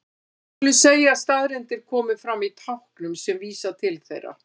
Við skulum segja að staðreyndir komi fram í táknum sem vísa til þeirra.